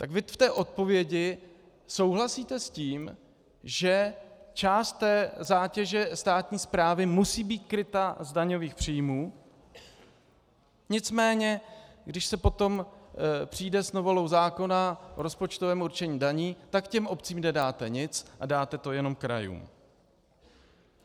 Tak vy v té odpovědi souhlasíte s tím, že část té zátěže státní správy musí být kryta z daňových příjmů, nicméně když se potom přijde s novelou zákona o rozpočtovém určení daní, tak těm obcím nedáte nic a dáte to jenom krajům.